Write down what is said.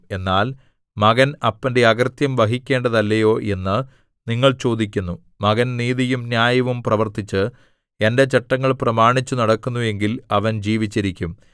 എന്നാൽ മകൻ അപ്പന്റെ അകൃത്യം വഹിക്കേണ്ടതല്ലയോ എന്ന് നിങ്ങൾ ചോദിക്കുന്നു മകൻ നീതിയും ന്യായവും പ്രവർത്തിച്ച് എന്റെ ചട്ടങ്ങൾ പ്രമാണിച്ചു നടക്കുന്നു എങ്കിൽ അവൻ ജീവിച്ചിരിക്കും